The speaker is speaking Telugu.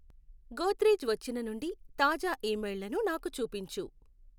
గోద్రెజ్ వచ్చిన నుండి తాజా ఇమెయిల్లను నాకు చూపించు